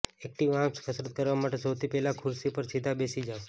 active arms કસરત કરવા માટે સૌથી પહેલાં ખુરશી પર સીધા બેસી જાવ